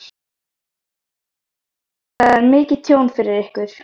Sunna: Þetta er mikið tjón fyrir ykkur?